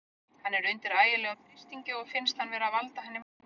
Hann er undir ægilegum þrýstingi og finnst hann vera að valda henni vonbrigðum.